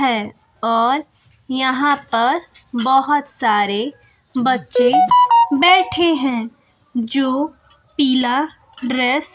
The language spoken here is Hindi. है और यहां पर बहोत सारे बच्चे बैठे हैं जो पीला ड्रेस --